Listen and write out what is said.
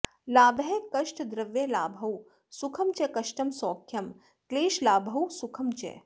लाभः कष्टद्रव्यलाभौ सुखं च कष्टं सौख्यं क्लेशलाभौ सुखं च